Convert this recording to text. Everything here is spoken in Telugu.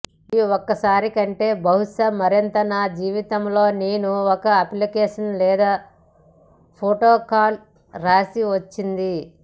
మరియు ఒకసారి కంటే బహుశా మరింత నా జీవితంలో నేను ఒక అప్లికేషన్ లేదా ప్రోటోకాల్ వ్రాసి వచ్చింది